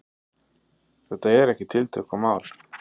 Þetta er ekkert tiltökumál?